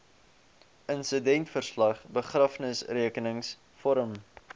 insidentverslag begrafnisrekenings vorm